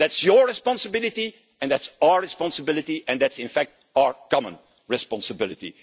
And that's your responsibility, and that's our responsibility, and that's in fact our common responsibility.